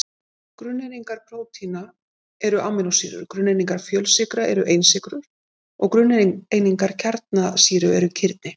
Grunneiningar prótína eru amínósýrur, grunneiningar fjölsykra eru einsykrur og grunneiningar kjarnasýra eru kirni.